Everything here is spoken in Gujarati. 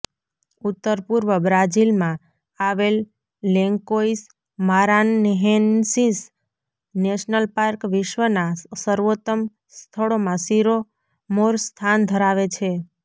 ઉત્તરપુર્વ બ્રાઝીલમાં આવેલ લેન્કોઇસ મારાન્હેન્સીસ નેશનલ પાર્ક વિશ્વનાં સર્વોત્તમ સ્થળોમાં શિરમોર સ્થાન ધરાવે છે